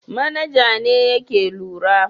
Manaja ne yake lura.